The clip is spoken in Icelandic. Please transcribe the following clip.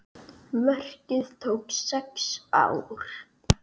Verkið tók sex ár.